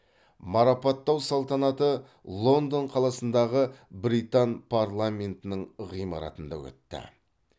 марапаттау салтанаты лондон қаласындағы британ парламентінің ғимаратында өтті